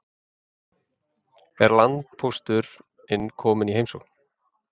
Er landpósturinn kominn í heimsókn?